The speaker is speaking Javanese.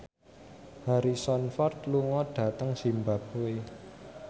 Harrison Ford lunga dhateng zimbabwe